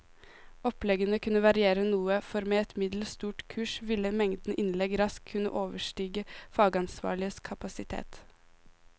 Oppleggene kunne variere noe, for med et middels stort kurs ville mengden innlegg raskt kunne overstige fagansvarliges kapasitet.